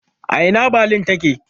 A ina Balin take?